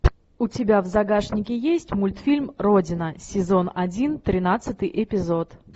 у тебя в загашнике есть мультфильм родина сезон один тринадцатый эпизод